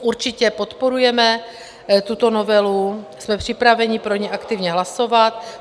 Určitě podporujeme tuto novelu, jsme připraveni pro ni aktivně hlasovat.